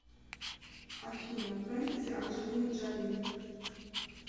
афина фентези анджелина джоли